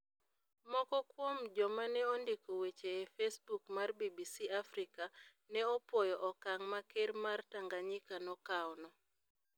Moko kuom joma ne ondiko weche e Facebook mar BBC Africa ne opwoyo okang ' ma Ker mar Tanganyika nokawono.